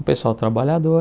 Um pessoal trabalhador,